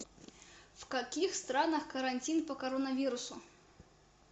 в каких странах карантин по коронавирусу